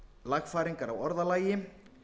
lagfæringar á orðalagi